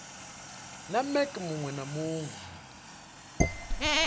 na mec muwe na muwe